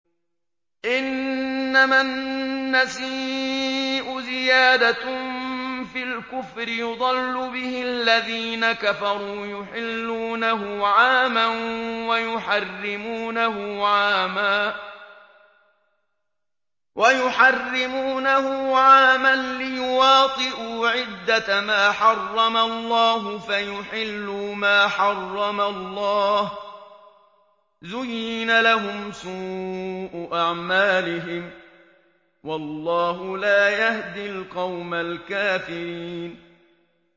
إِنَّمَا النَّسِيءُ زِيَادَةٌ فِي الْكُفْرِ ۖ يُضَلُّ بِهِ الَّذِينَ كَفَرُوا يُحِلُّونَهُ عَامًا وَيُحَرِّمُونَهُ عَامًا لِّيُوَاطِئُوا عِدَّةَ مَا حَرَّمَ اللَّهُ فَيُحِلُّوا مَا حَرَّمَ اللَّهُ ۚ زُيِّنَ لَهُمْ سُوءُ أَعْمَالِهِمْ ۗ وَاللَّهُ لَا يَهْدِي الْقَوْمَ الْكَافِرِينَ